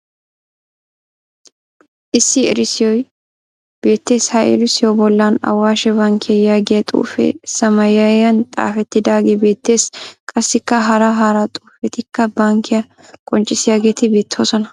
Issi erissoy beettes. Ha erissuwa bollan " awaashe bankkiya" yaagiya xuufee samaayiyan xaafettidaagee beettes. Qassikka hara hara xuufetikka bankkiya qoccissiyageeti beettoosona.